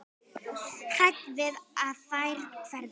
Hrædd við að þær hverfi.